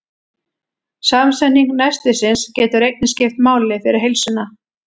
Samsetning nestisins getur einnig skipt máli fyrir heilsuna.